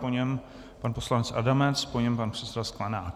Po něm pan poslanec Adamec, po něm pan předseda Sklenák.